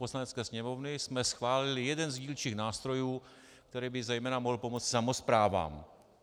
Poslanecké sněmovny jsme schválili jeden z dílčích nástrojů, který by zejména mohl pomoci samosprávám.